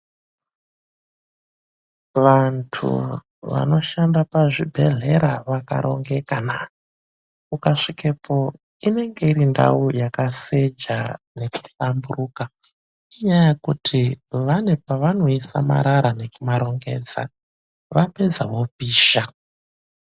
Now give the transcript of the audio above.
Vantu vanoshanda pazvibhehlera vakarongeka naa ukasvikepo inenge iri ndau yakaseja nekuhlamburuka inyaya yekuti vanepavanoisa marara nekumarongedza vapedza vomapisha.